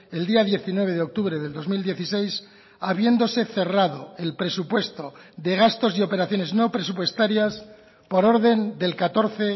el día diecinueve de octubre del dos mil dieciséis habiéndose cerrado el presupuesto de gastos y operaciones no presupuestarias por orden del catorce